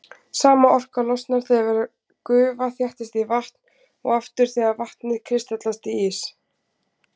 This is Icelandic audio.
Sama orka losnar þegar gufa þéttist í vatn og aftur þegar vatnið kristallast í ís.